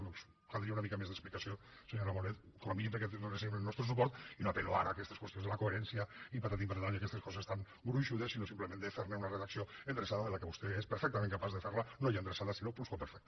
per tant caldria una mica més d’explicació senyora bonet com a mínim perquè hi donéssim el nostre suport i no apel·lo ara a aquestes qüestions de la coherència i patatim patatam i aquestes coses tan gruixudes sinó simplement de fer ne una redacció endreçada que vostè és perfectament capaç de fer la no ja endreçada sinó plusquamperfecta